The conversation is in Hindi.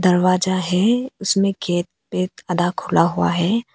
दरवाजा है उसमें गेट पेत आधा खुला हुआ है।